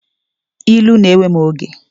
Ilu na-ewe m oge.